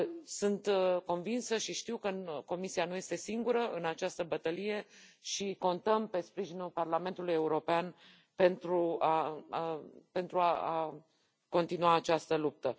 Sunt convinsă și știu că Comisia nu este singură în această bătălie și contăm pe sprijinul Parlamentului European pentru a continua această luptă.